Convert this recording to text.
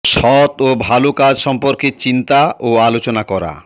সৎ ও ভালো কাজ সম্পর্কে চিন্তা ও আলোচনা করা